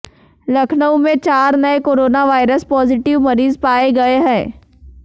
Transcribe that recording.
लखनऊ में चार नए कोरोना वायरस पॉजिटिव मरीज पाए गए हैं